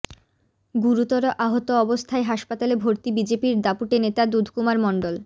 গুরুতর আহত অবস্থায় হাসপাতালে ভর্তি বিজেপির দাপুটে নেতা দুধকুমার মণ্ডল